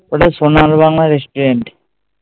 ওটা ঐ সোনার বাংলা restaurant